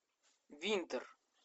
винтер